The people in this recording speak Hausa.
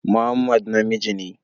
Muhammad namiji ne